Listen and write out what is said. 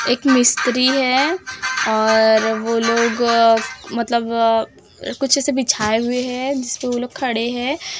एक मिस्त्री है और वो लोग मतलब कुछ ऐसे बिछाए हुए है जिसपे वो लोग खड़े हैं।